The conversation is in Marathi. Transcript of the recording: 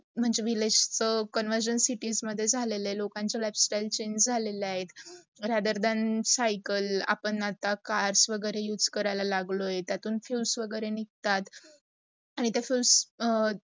म्हणजे village चं conversation cities मध्ये झालेलं आहे. लोकांच lifestyle change झालेलं आहेत like, rather than सायकल्स आपण आता cars वगैरे use कराय्ल लागलो आहे, त्यातून fuels वगैरे निगतात आणी त्यातून